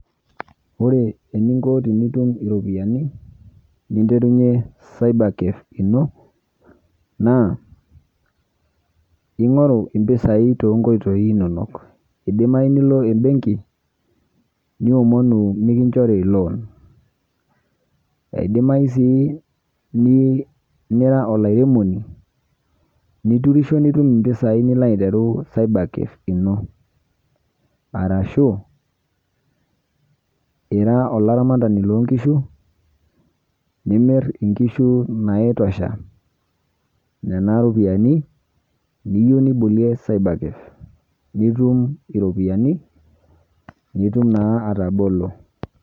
ore eninko tenitum iropiyiani ninterunye cyber cafe ino. naa ingoru impisai, too nkoitoi inonok. idimayu nilo ebenki, niomonu mikinchori loan idimayu sii nira olairemoni, niturisho nitum impisai nilo aingoru cyber cafe ino. arshu ira aolaramatani loo nkishu, nimir inkishu naitosha nena ropiyiani, niyieu nibolie cyber cage nitum iropiyiani nitum naa atabolo.